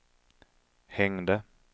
hängde